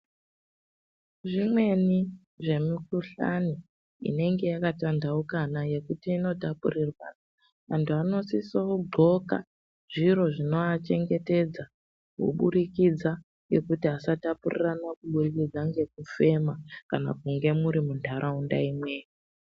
Zvimweni zvemi kuhlani inenge yaka tandahuka nekuti ino tapurirwa anhu anosiso gqoka zviro zvino achengetedza kuburikidza ngekuti asatapurirana kubudikidza ngeku fema kana kunge muri mu ndaraunda imweyo